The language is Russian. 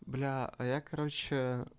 бля а я короче